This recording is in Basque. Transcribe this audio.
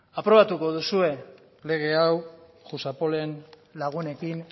aprobatuko duzue legea hau jusapol en lagunekin